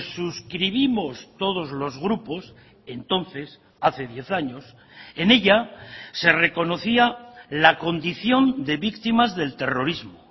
suscribimos todos los grupos entonces hace diez años en ella se reconocía la condición de víctimas del terrorismo